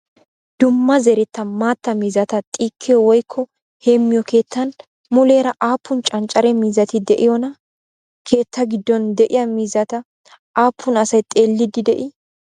Dumma zeretta maatta miizzata xiikkiyoo woyikko heemmiyoo keettan muleera aappun canccare miizzati de'iyoonaa? Keettaa giddon de'iyaa miizzata aappun asayi xeelliiddi de'ii?